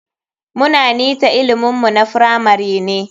Muna bnita ilimin mu na firamari ne.